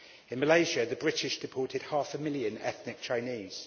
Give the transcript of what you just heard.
In Malaysia, the British deported half a million ethnic Chinese.